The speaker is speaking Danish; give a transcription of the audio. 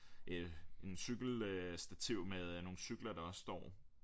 En cykel øh stativ med øh nogle cykler der også står